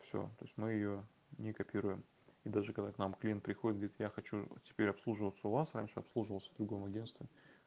всё то есть мы её не копируем и даже когда к нам клиент приходит говорит я хочу теперь обслуживаться у вас раньше обслуживался в другом агентстве